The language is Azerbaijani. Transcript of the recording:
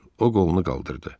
O qolunu qaldırdı.